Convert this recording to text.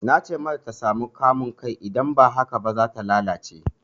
Na ce mata ta sami kamun kai idan ba haka ba, za ta lalace.